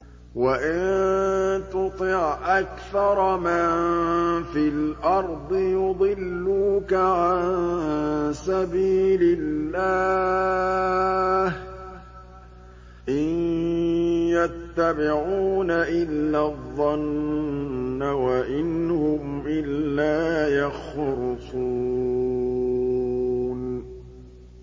وَإِن تُطِعْ أَكْثَرَ مَن فِي الْأَرْضِ يُضِلُّوكَ عَن سَبِيلِ اللَّهِ ۚ إِن يَتَّبِعُونَ إِلَّا الظَّنَّ وَإِنْ هُمْ إِلَّا يَخْرُصُونَ